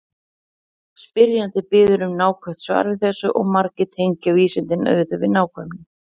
Spyrjandi biður um nákvæmt svar við þessu og margir tengja vísindin auðvitað við nákvæmni.